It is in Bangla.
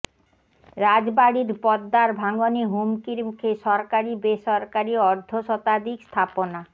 রাজবাড়ীর পদ্মার ভাঙ্গনে হুমকির মুখে সরকারি বেসরকারি অর্ধশতাধিক স্থাপনা